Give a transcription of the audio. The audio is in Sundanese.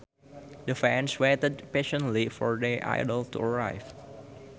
The fans waited patiently for their idol to arrive